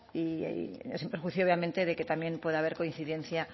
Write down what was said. y sin perjuicio obviamente de que también pueda haber coincidencia